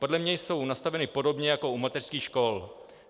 Podle mě jsou nastaveny podobně jako u mateřských škol.